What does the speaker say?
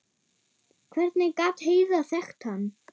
Hvernig gat Heiða þekkt hann?